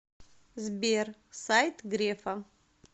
сбер сайт грефа